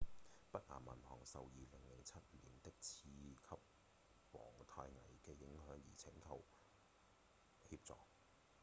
北岩銀行受2007年的次級房貸危機影響而請求協助